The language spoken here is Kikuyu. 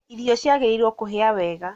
Irio ciagĩrĩirwo kũhĩa wega